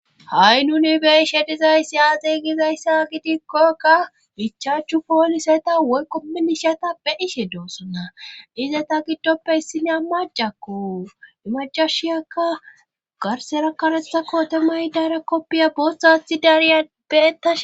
ha7i nuni beishe dizayssi aaxey gizayssa gidikkokka gichaachchu pooliseta woyqo minishata pe ishe doossonna ize ta giddoppe issinea macakko imacashiyakka garsera karethakko temay dare koppiya boosathi dariya beetash